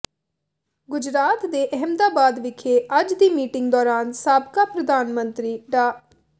ਗੁਜਰਾਤ ਦੇ ਅਹਿਮਦਾਬਾਦ ਵਿਖੇ ਅੱਜ ਦੀ ਮੀਟਿੰਗ ਦੌਰਾਨ ਸਾਬਕਾ ਪ੍ਰਧਾਨ ਮੰਤਰੀ ਡਾ